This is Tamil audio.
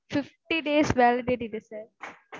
fifty days, validity sir